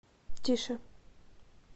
тише